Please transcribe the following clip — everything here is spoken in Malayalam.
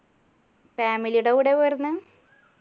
family ടെ കൂടെയാ പോയിരുന്നെ